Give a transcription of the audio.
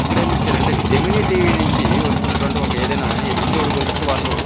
ఇక్కడ ఎం ఇచ్చారు అంటే జెమిని టీవీ నుంచి వస్తునటువంటి ఒక ఏదైనా ఎపిసోడ్ గురించి వాళ్ళు --